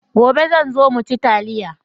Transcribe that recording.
Gobe zan zo mu ci taliya.